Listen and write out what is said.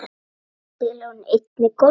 Svo spilar hún einnig golf.